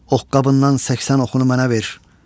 Ox qabından 80 oxunu mənə ver.